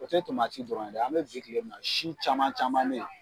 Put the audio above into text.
O tɛ dɔrɔn ye an bɛ bi kile min na si caman caman be yen